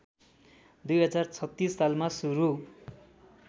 २०३६ सालमा सुरु